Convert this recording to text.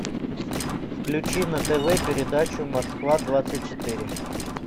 включи на тв передачу москва двадцать четыре